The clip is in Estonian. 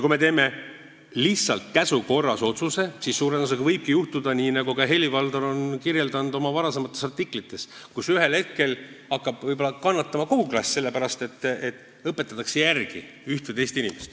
Kui me teeme lihtsalt käsu korras otsuse, siis suure tõenäosusega võibki juhtuda nii, nagu ka Helir-Valdor on kirjeldanud oma varasemates artiklites, et ühel hetkel hakkab võib-olla kannatama kogu klass, sest üht või teist inimest aidatakse järele.